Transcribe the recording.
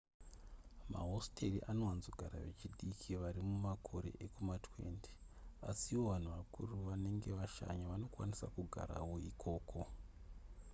mahositeri anowanzogara vechidiki vari mumakore ekuma20 asiwo vanhu vakura vanenge vashanya vanokwanisa kugarawo ikoko